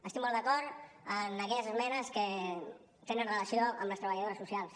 estic molt d’acord en aquelles esmenes que tenen relació amb les treballadores socials